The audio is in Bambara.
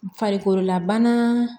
Farikololabana